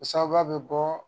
O sababuya bɛ bɔ